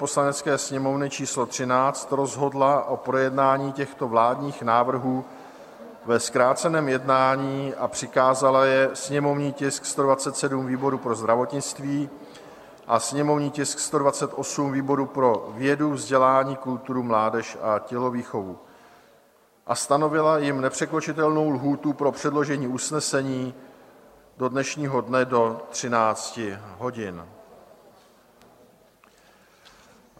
Poslanecké sněmovny číslo 13 rozhodla o projednání těchto vládních návrhů ve zkráceném jednání a přikázala je: sněmovní tisk 127 výboru pro zdravotnictví a sněmovní tisk 128 výboru pro vědu, vzdělání, kulturu, mládež a tělovýchovu a stanovila jim nepřekročitelnou lhůtu pro předložení usnesení do dnešního dne do 13 hodin.